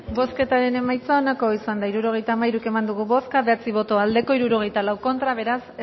bozketaren emaitza onako izan da hirurogeita hamairu eman dugu bozka bederatzi boto aldekoa sesenta y cuatro contra beraz